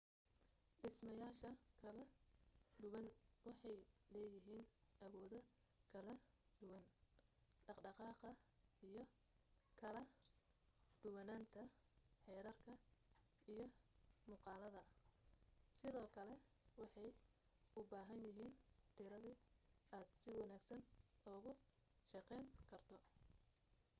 dhismayaasha kala duwan waxay leeyihiin awoodo kala duwan dhaqdhqaqa iyo kala duwanaanta xeerarka iyo muuqaalada sidoo kale waxay u baahan yahiin tirade aad si wanaagsan ugu shaqayn karto